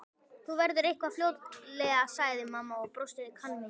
Það verður eitthvað fljótlegt sagði mamma og brosti kankvís.